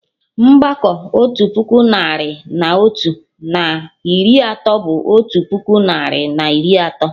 Mgbakọ otu puku narị na otu, na iri atọ bụ otu puku narị na iri atọ